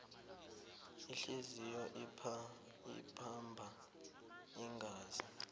ihliziyo ipampa igazi